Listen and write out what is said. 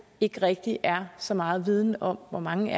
ikke rigtig er så meget viden om hvor mange